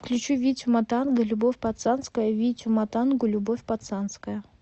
включи витю матанга любовь пацанская витю матангу любовь пацанская